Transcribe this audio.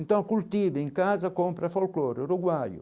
Então, cultiva em casa compra folclore, uruguaio.